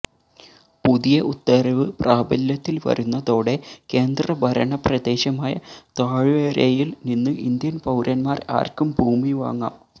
പുതിയ ഉത്തരവ് പ്രാബല്യത്തില് വരുന്നതോടെ കേന്ദ്ര ഭരണപ്രദേശമായ താഴ്വരയില് നിന്ന് ഇന്ത്യന് പൌരന്മാര് ആര്ക്കും ഭൂമി വാങ്ങാം